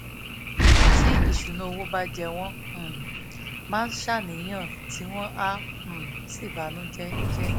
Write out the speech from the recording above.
tí ìṣúnná owó bà jẹ́ wọ́n um máa ń ṣàníyàn tí wọ́n á um sì banú jẹ́ jẹ́